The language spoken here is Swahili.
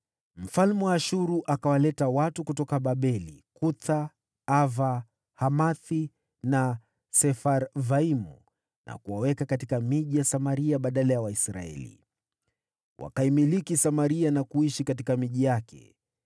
Mfalme wa Ashuru akawaleta watu kutoka Babeli, Kutha, Ava, Hamathi na Sefarvaimu na kuwaweka katika miji ya Samaria badala ya Waisraeli. Wakaimiliki Samaria na kuishi katika miji yake.